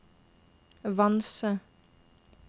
Vanse